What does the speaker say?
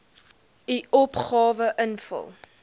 u opgawe invul